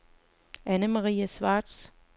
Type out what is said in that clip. Anne-Marie Schwartz